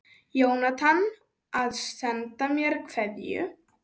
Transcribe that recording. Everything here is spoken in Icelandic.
Jónatan að senda mér kveðju?